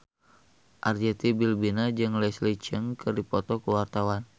Arzetti Bilbina jeung Leslie Cheung keur dipoto ku wartawan